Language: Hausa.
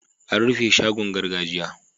An rufe shagon gargajiya.